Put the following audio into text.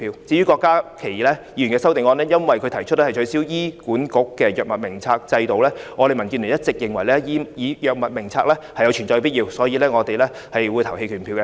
至於郭家麒議員的修正案，由於他提出取消醫管局的藥物名冊制度，但我們民主建港協進聯盟一直認為，藥物名冊有存在必要，所以我們會表決棄權。